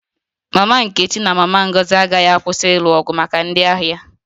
Mama nkechi na mama Ngozi agaghị akwụsị ịlụ ọgụ maka ndị ahịa